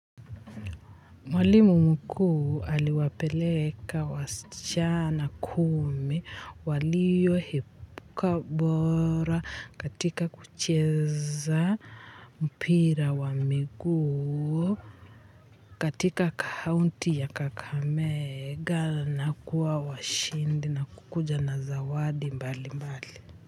Mwalimu mkuu aliwapeleka wasichana kumi walio epuka bora katika kucheza mpira wa miguu katika kaunti ya kakamega na kuwa washindi na kukuja na zawadi mbali mbali.